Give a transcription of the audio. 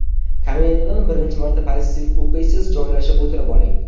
Kaminadan birinchi marta pozitiv o‘qiysiz, joylashib o‘tirib oling.